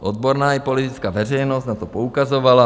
Odborná i politická veřejnost na to poukazovala.